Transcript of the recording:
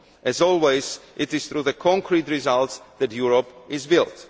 As always, it is through concrete results that Europe is built.